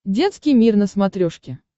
детский мир на смотрешке